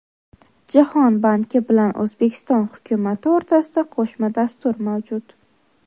Jahon banki bilan O‘zbekiston hukumati o‘rtasida qo‘shma dastur mavjud.